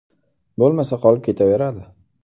Bo‘lmasa qolib ketaveradi.